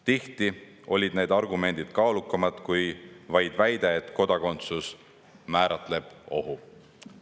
Tihti olid need argumendid kaalukamad kui vaid väide, et kodakondsus määratleb ohu.